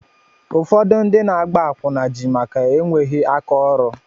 Ụfọdụ ndị na agba akwụna ji maka enweghị áká ọrụ.